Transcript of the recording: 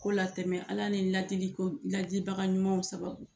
Ko latɛmɛ Ala ni ladili ko ladibaga ɲumanw sababu